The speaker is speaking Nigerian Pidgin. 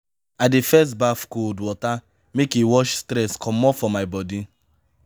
i dey first baff cold water make e wash stress comot for my bodi.